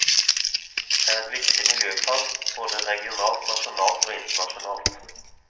Det er et viktig miljøkrav, både regionalt, nasjonalt og internasjonalt.